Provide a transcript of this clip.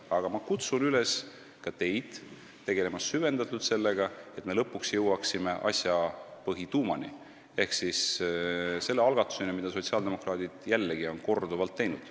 Aga ma kutsun üles ka teid tegelema süvendatult sellega, et me lõpuks jõuaksime asja põhituumani ehk selle algatuseni, mida sotsiaaldemokraadid on, jällegi, korduvalt teinud.